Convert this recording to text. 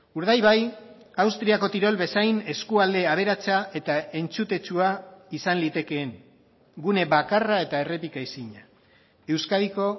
urdaibai austriako tirol bezain eskualde aberatsa eta entzutetsua izan litekeen gune bakarra eta errepika ezina euskadiko